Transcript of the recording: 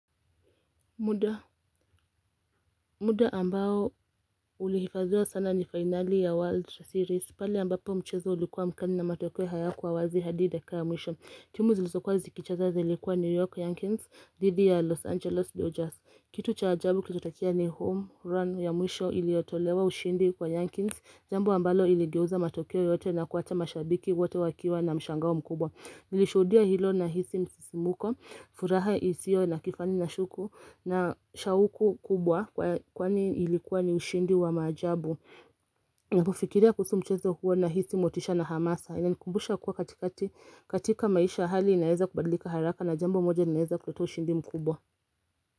Muda ambao ulihifadhiwa sana ni finali ya World Series, pale ambapo mchezo ulikuwa mkali na matokeo hayakuwazi hadi dakika ya mwisho. Timu zilizokuwa zikicheza zilikuwa New York, Yankees, dhidi ya Los Angeles, Dodgers. Kitu cha ajabu kilitokea ni home run ya mwisho iliyotolewa ushindi kwa Yankees. Jambo ambalo iligeuza matokeo yote na kuwacha mashabiki wote wakiwa na mshangao mkubwa. Nilishuhudia hilo nahisi msisimuko, furaha ya isio na kifani na shuku na shauku kubwa kwani ilikuwa ni ushindi wa maajabu Napofikiria kuhusu mchezo huo nahisi motisha na hamasa Inanikumbusha kuwa katika maisha hali inaeza kubadlika haraka na jambo moja inaweza kuleta ushindi mkubwa.